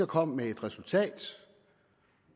kom med et resultat